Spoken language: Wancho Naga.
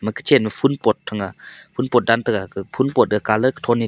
kachen ma phul pot thang a phul pot a colour .]